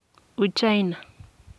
uchina.